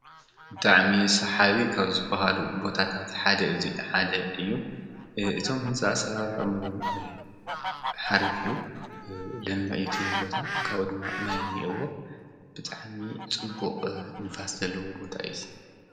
ብጣዕሚ ሰሓቢ ካብ ዝበሃሉ ቦታታት እዚ ሓደ እዩ ። እቶም ህንፃ አሰራርሕኦም እውን ሓሪፍ እዩ። ለሚዕ እዩ እቲ ቦታ ካብኡ ድማ ማይ እኒአዎ ብጣዕሚ ፅቡቅ ንፋስ ዘለዎ ቦታ እዩ እዙይ።